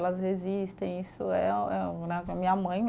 Elas resistem, isso é Minha mãe, né?